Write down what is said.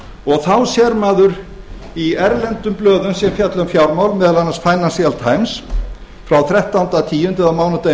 og þá sér maður í erlendum blöðum sem fjalla um fjármál meðal annars financial times frá þrettánda október eða á mánudaginn